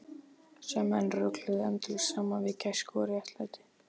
Sem menn rugluðu endalaust saman við gæsku og réttlæti.